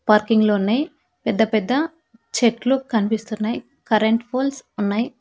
Parking లో ఉన్నయ్ పెద్దపెద్ద చెట్లు కన్పిస్తున్నయ్ కరెంట్ పోల్స్ ఉన్నాయ్.